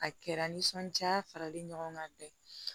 A kɛra nisɔndiya faralen ɲɔgɔn kan bɛn